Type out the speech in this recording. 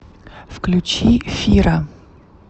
включи фира